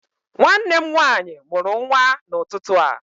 Nwanne m nwaanyị mụrụ nwa n'ụtụtụ a